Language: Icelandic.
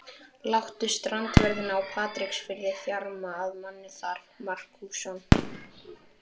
Láttu strandverðina á Patreksfirði þjarma að manni þar, Markússon.